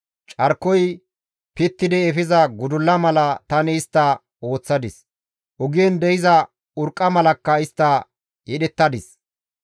Carkoy pittidi efiza gudulla mala tani istta ooththadis; ogen de7iza urqqa malakka istta yedhettadis.